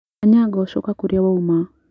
Anyango coka kũrĩa wauma.